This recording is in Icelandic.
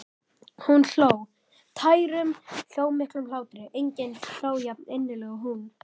Hún hló, tærum, hljómmiklum hlátri, enginn hló jafninnilega og hún.